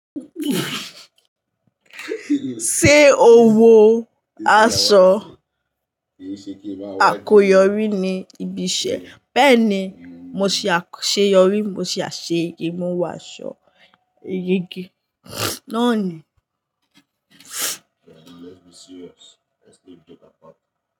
Ṣé o wo aṣọ àkoyọrí ní ibi ìṣẹ́? Bẹ́ẹ̀ni, mo ṣe àkọ́ ṣe yọrí, mo sì ṣe ìmúwàsọ igi náà ni.